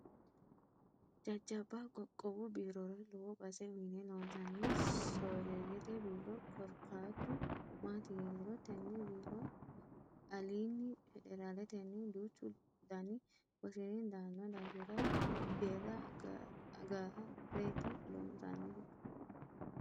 Jajjabba qoqqowu biirora lowo base uyine loonsanni soorreyete biiro korkaatu maati yiniro tene biiro alini federaleteni duuchu dani wosinni daano daafira deera agareti loonsanihu.